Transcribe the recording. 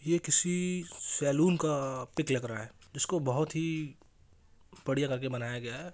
ये किसी सलोन का पीक लग रहा है जिसको बहुत ही बड़िया करके बनाया गया है।